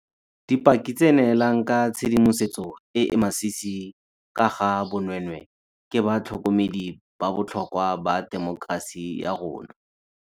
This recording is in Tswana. Dipaki tse di neelang ka tshedimosetso e e masisi ka ga bonweenwee ke ba tlhokomedi ba botlhokwa ba temokerasi ya rona.